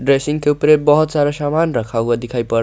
dressing के ऊपर बहुत ये सारा सामान रखा हुआ दिखाई पड़--